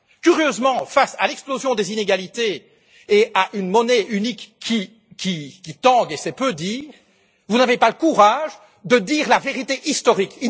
Curieusement, face à l'explosion des inégalités et à une monnaie unique qui tangue et c'est peu dire vous n'avez pas le courage de dire la vérité historique.